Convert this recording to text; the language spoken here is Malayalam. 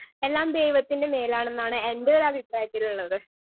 സ്പീക്കർ 1 എല്ലാം ദൈവത്തിന്റെ മേലാണെന്നാണ് എന്റൊരഭിപ്രായത്തിലുള്ളത്.